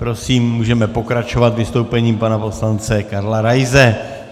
Prosím, můžeme pokračovat vystoupením pana poslance Karla Raise.